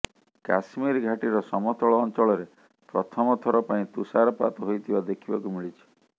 କାଶ୍ମୀର ଘାଟିର ସମତଳ ଅଞ୍ଚଳରେ ପ୍ରଥମ ଥର ପାଇଁ ତୁଷାରପାତ ହୋଇଥିବା ଦେଖିବାକୁ ମିଳିଛି